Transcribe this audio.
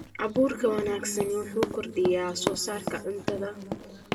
Abuurka wanaagsani wuxuu kordhiyaa wax soo saarka cuntada.